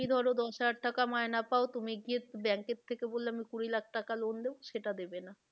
তুমি ধরো দশ হাজার টাকা মাইনা পাও তুমি গিয়ে bank থেকে বললে আমি কুড়ি লাখ টাকা loan দেবো, সেটা দেবে না।